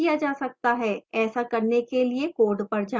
ऐसा करने के लिए code पर जाएं